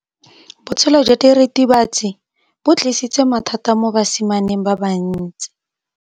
Botshelo jwa diritibatsi ke bo tlisitse mathata mo basimaneng ba bantsi.